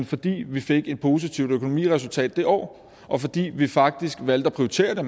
fordi vi fik et positivt økonomiresultat det år og fordi vi faktisk valgte at prioritere det